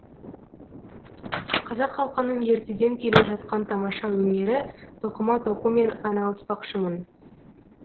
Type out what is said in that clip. қазақ халқының ертеден келе жатқан тамаша өнері тоқыма тоқумен айналыспақшымын